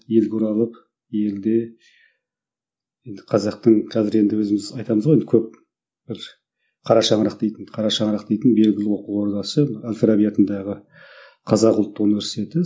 елге оралып елде енді қазақтың қазір енді өзіміз айтамыз ғой енді көп бір қара шаңырақ дейтін қара шаңырақ дейтін белгілі оқу орадасы әл фараби атындағы қазақ ұлттық университеті